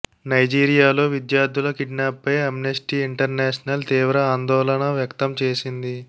నైజీరియాలో విద్యార్థుల కిడ్నాప్పై Amnesty International తీవ్ర ఆందోళన వ్యక్తం చేసింది